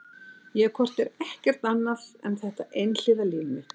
Ég hef hvort eð er ekkert annað en þetta einhliða líf mitt.